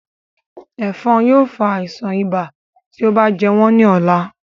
Ẹ̀fọ̀n yóò fa àisàn ibà tí ó bá jẹ wọ́n ní ọ̀la